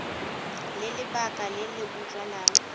le lebaka le le utlwalang